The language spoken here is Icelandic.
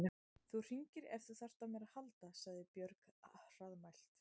Þú hringir ef þú þarft á mér að halda, sagði Björg hraðmælt.